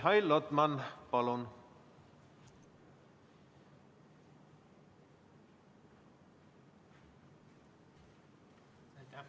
Mihhail Lotman, palun!